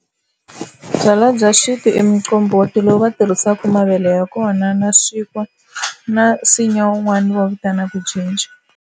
Byalwa bya xintu i muqombhoti lowu va tirhisaka mavele ya kona na swinkwa na nsinya wun'wani vo vitanaka jinja.